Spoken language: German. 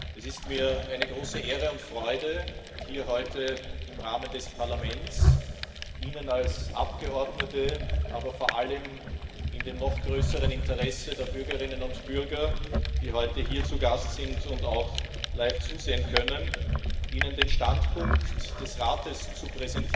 Es ist mir eine große Ehre und Freude, hier heute im Rahmen des Parlaments Ihnen als Abgeordnete, aber vor allem in dem noch größeren Interesse der Bürgerinnen und Bürger, die heute hier zu Gast sind und auch live zuschauen können, den Standpunkt des Rates zum